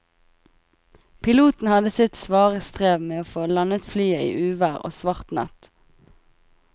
Piloten hadde sitt svare strev med å få landet flyet i uvær og svart natt.